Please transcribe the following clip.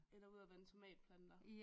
Eller ud at vande tomatplanter